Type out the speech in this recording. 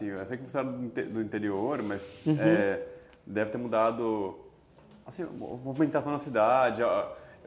Eu sei que você é do do interior, uhum, mas deve ter mudado a movimentação na cidade...